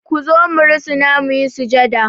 Ku zo mu rusuna mu yi sujada!